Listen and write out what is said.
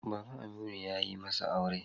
Baban Aminu ya yi masa aure.